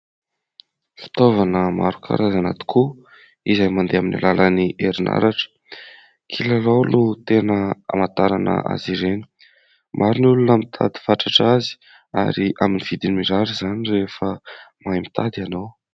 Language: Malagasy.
Fitaovana maro karazana tokoa izay mandeha amin'ny alalan'ny herinaratra. Kilalao no tena hamantarana azy ireny. Maro ny olona mitady fatratra azy ary amin'ny vidiny mirary izany rehefa mahay mitady ianao.